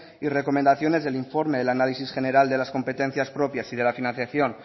y recomendaciones del informe del análisis general de las competencias propias y de la financiación